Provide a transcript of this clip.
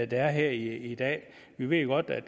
der er her i dag vi ved jo godt at